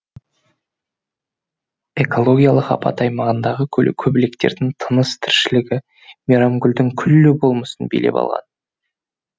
экологиялық апат аймағындағы көбелектердің тыныс тіршілігі мейрамгүлдің күллі болмысын билеп алған